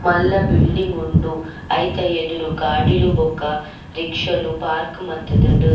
ಮಲ್ಲ ಬಿಡಿಂಗ್ ಉಂಡು ಐತ ಎದುರು ಗಾಡಿಲ್ ಬೊಕ ರಿಕ್ಷಲ್ ಪಾರ್ಕ್ ಮಂತುದುಂಡು.